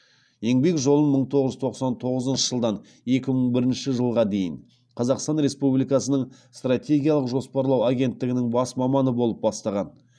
еңбек жолын мың тоғыз жүз тоқсан тоғызыншы жылдан екі мың бірінші жылға дейін қазақстан республикасының стратегиялық жоспарлау агенттігінің бас маманы болып бастаған